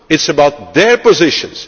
It is about their positions.